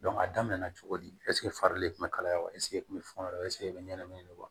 a daminɛ na cogo di farili kun bɛ kalaya wa eseke e kun bɛ fɛn dɔ e bɛ ɲɛnamini wa